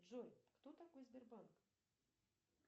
джой кто такой сбербанк